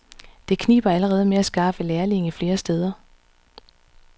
Det kniber allerede med at skaffe lærlinge flere steder.